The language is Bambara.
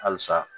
Halisa